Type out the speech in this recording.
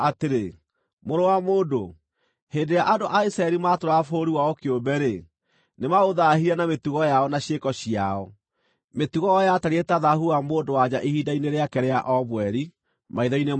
“Mũrũ wa mũndũ, hĩndĩ ĩrĩa andũ a Isiraeli maatũũraga bũrũri wao kĩũmbe-rĩ, nĩmaũthaahirie na mĩtugo yao na ciĩko ciao. Mĩtugo yao yatariĩ ta thaahu wa mũndũ-wa-nja wa o mweri maitho-inĩ makwa.